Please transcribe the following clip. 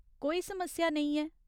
कोई समस्या नेईं ऐ।